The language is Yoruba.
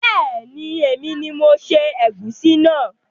Beeni, èmi ni mo se ègúsí náà